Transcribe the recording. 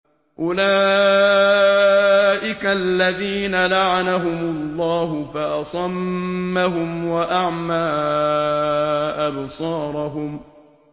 أُولَٰئِكَ الَّذِينَ لَعَنَهُمُ اللَّهُ فَأَصَمَّهُمْ وَأَعْمَىٰ أَبْصَارَهُمْ